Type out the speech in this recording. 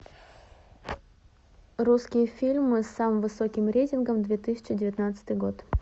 русские фильмы с самым высоким рейтингом две тысячи девятнадцатый год